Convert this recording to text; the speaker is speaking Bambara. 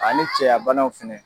A ni cɛya banaw fɛnɛ.